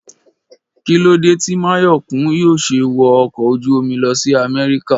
Kí lóde tí Máyọ̀kún yóò ṣe wọ ọkọ̀ ojú-omi lọ sí Amẹ́ríkà?